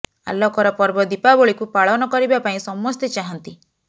ଆଲୋକର ପର୍ବ ଦୀପାବଳିକୁ ପାଳନ କରିବା ପାଇଁ ସମେସ୍ତ ଚାହାନ୍ତି